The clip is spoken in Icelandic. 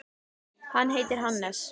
Hann heitir Hannes.